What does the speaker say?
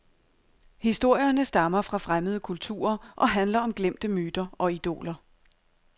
Historierne stammer fra fremmede kulturer og handler om glemte myter og idoler.